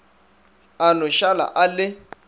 a no šala a le